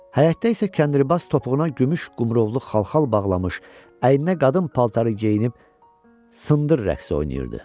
Həyətdə isə kəndirbaz topuğuna gümüş qumrovlu xalxal bağlamış, əyninə qadın paltarı geyinib "Sındır" rəqsi oynayırdı.